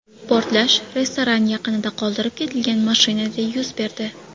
Portlash restoran yaqinida qoldirib ketilgan mashinada yuz berdi.